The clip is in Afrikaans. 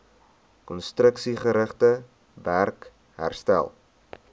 konstruksiegerigte werk herstel